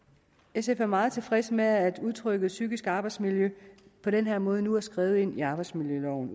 sf er meget tilfredse med at udtrykket psykiske arbejdsmiljø på den her måde nu udtrykkeligt er skrevet ind i arbejdsmiljøloven